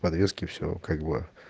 подвески все как бы